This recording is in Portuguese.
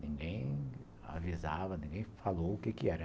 Ninguém avisava, ninguém falou o quê que era.